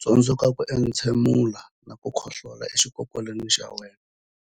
Tsundzuka ku entshemula na ku khohlolela exikokolweni xa wena